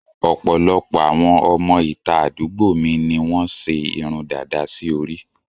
Ọ̀pọ̀lọpọ̀ àwọn ọmọ ìta àdúgbò mi ni wọ́n ṣe irun dàda sí orí